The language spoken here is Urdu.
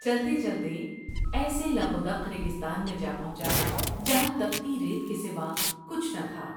چلتے چلتے ایسے لق ودق ریگستان میں جا پہنچا جہاں تپتی ریت کے سوا کچھ نہ تھا ۔